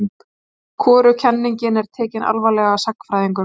Hvorug kenningin er tekin alvarlega af sagnfræðingum.